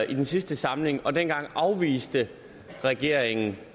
i sidste samling og dengang afviste regeringen